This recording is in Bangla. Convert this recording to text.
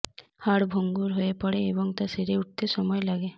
হাড় ভঙ্গুর হয়ে পড়ে এবং তা সেরে উঠতে সময় লাগে